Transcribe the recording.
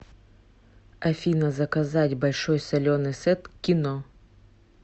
афина заказать большой соленый сет к кино